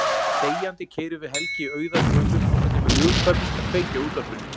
Þegjandi keyrum við Helgi auðar götur þangað til mér hugkvæmist að kveikja á útvarpinu.